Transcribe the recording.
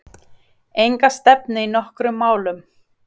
Enga stefnu í nokkrum málum.